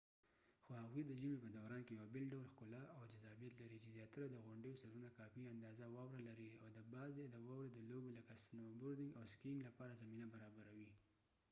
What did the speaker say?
خو هغوي د ژمې په دوران کې یو بیل ډول ښکلا او جذابیت لري چې زیاتره د غونډیو سرونه کافي اندازه واوره لري او د بعضې د واورې د لوبو لکه سنو بوردنګ او سکیینګ لپاره زمینه برابروي